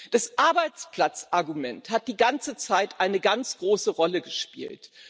Das Arbeitsplatzargument hat die ganze Zeit eine ganz große Rolle gespielt.